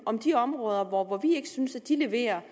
om de områder hvor vi ikke synes at de leverer